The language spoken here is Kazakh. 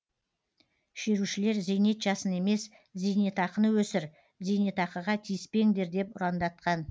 шерушілер зейнет жасын емес зейнетақыны өсір зейнетақыға тиіспеңдер деп ұрандатқан